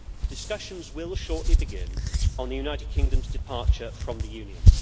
Discussions will shortly begin on the United Kingdom's departure from the Union.